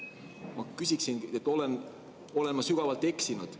Ma küsiksin, kas ma olen sügavalt eksinud.